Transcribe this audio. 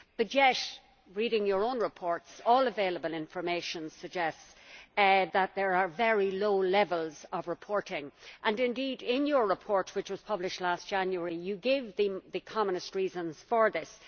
Yet, reading your own reports, all available information suggests that there are very low levels of reporting, and indeed, in your report which was published last January, you gave the commonest reasons for this.